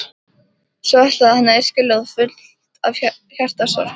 Svo ætlaði hann að yrkja ljóð, fullt af hjartasorg.